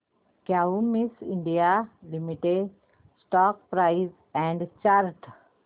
Cummins India limited stock price and chart